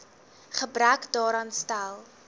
gebrek daaraan stel